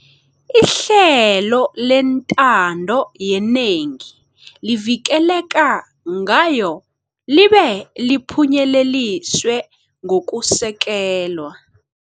ihlelo lentando yenengi livikeleka ngayo libe liphunyeleliswe ngokusekelwa.